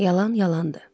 Yalan yalandır.